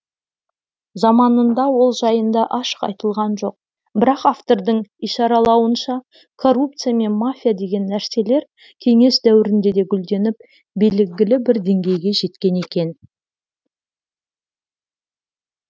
заманында ол жайында ашық айтылған жоқ бірақ автордың ишаралауынша коррупция мен мафия деген нәрселер кеңес дәуірінде де гүлденіп белгілі бір деңгейге жеткен екен